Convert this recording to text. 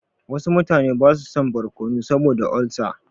Wasu mutane ba su son barkono saboda olsa.